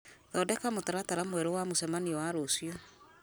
thondeka mũtaratara mwerũ wa mũcemanio wa rũciũ